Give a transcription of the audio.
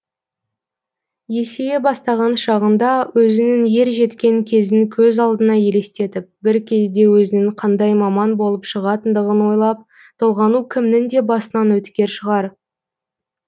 есейе бастаған шағында өзінің ержеткен кезін көз алдына елестетіп бір кезде өзінің қандай маман болып шығатындығын ойлап толғану кімнің де басынан өткер шығар